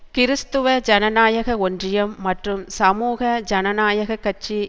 கிறிஸ்துவ ஜனநாயக ஒன்றியம் மற்றும் சமூக ஜனநாயக கட்சி